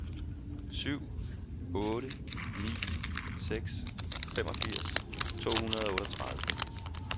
syv otte ni seks femogfirs to hundrede og otteogtredive